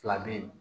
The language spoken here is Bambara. Fila bɛ ye